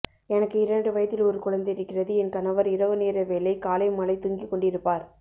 எனக்கு இரண்டு வயதில் ஒரு குழந்தை இருக்கிறது என் கணவர் இரவு நேர வேலை காலை மாலை தூங்கிக் கொண்டிருப்பார்